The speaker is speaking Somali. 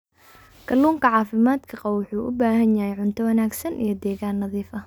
Kalluunka caafimaadka qaba wuxuu u baahan yahay cunto wanaagsan iyo deegaan nadiif ah.